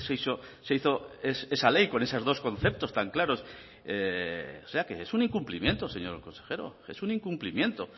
eso se hizo esa ley con esos dos conceptos tan claros o sea que es un incumplimiento señor consejero es un incumplimiento